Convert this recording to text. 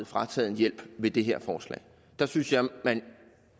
frataget en hjælp med det her forslag der synes jeg at man